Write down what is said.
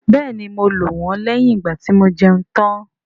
Bẹ́ẹ̀ni, mo lò wọ́n lẹ́yìn ìgbàtí mo jẹun tán